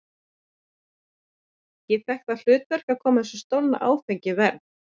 Ég fékk það hlutverk að koma þessu stolna áfengi í verð.